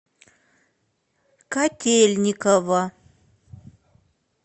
котельниково